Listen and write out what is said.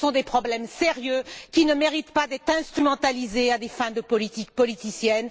Ce sont des problèmes sérieux qui ne méritent pas d'être instrumentalisés à des fins de politique politicienne.